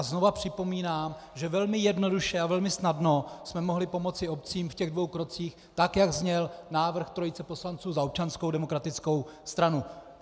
A znovu připomínám, že velmi jednoduše a velmi snadno jsme mohli pomoci obcím v těch dvou krocích tak, jak zněl návrh trojice poslanců za Občanskou demokratickou stranu.